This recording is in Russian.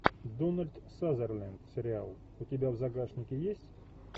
дональд сазерленд сериал у тебя в загашнике есть